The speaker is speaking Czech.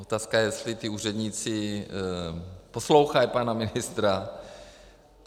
Otázka je, jestli ti úředníci poslouchají pana ministra.